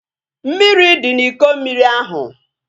Mmiri dị n'Iko mmiri ahu